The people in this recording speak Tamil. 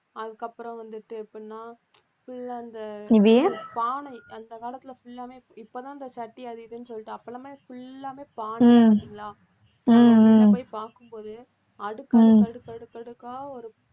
அதுக்கப்புறம் வந்துட்டு எப்படின்னா full ஆ அந்த பானை அந்த காலத்தில full ஆமே இப்பதான் அந்த சட்டி அது இதுன்னு சொல்லிட்டு அப்ப எல்லாமே full ஆவே பானை உள்ள போய் பார்க்கும்போது அடுக்கு அடுக்கு அடுக்கு அடுக்கு அடுக்கா ஒரு